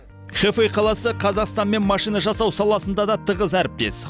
хэфэй қаласы қазақстанмен машина жасау саласында да тығыз әріптес